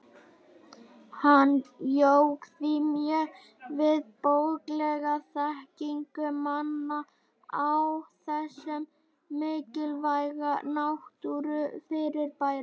Hann jók því mjög við bóklega þekkingu manna á þessu mikilvæga náttúrufyrirbæri.